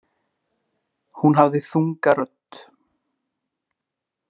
Hún hafði þunga rödd.